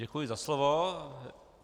Děkuji za slovo.